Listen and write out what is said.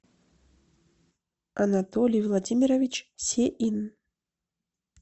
анатолий владимирович сеин